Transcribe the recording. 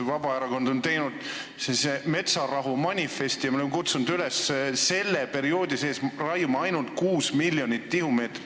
Vabaerakond on teinud metsarahu manifesti ja me oleme kutsunud üles selle perioodi jooksul raiuma ainult 6 miljonit tihumeetrit.